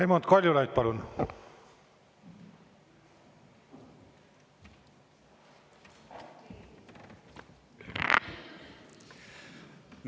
Raimond Kaljulaid, palun!